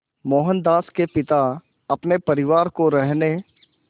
मोहनदास के पिता अपने परिवार को रहने